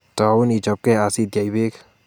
Tou ichobge asitech beek